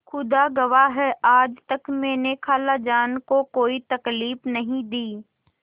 खुदा गवाह है आज तक मैंने खालाजान को कोई तकलीफ नहीं दी